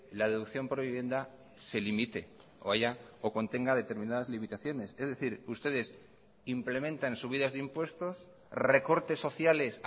la deducción por vivienda se limite o haya o contenga determinadas limitaciones es decir ustedes implementan subidas de impuestos recortes sociales